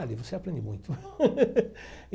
Ali você aprende muito.